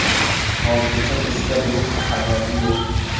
Hozircha bizga buning ahamiyati yo‘q.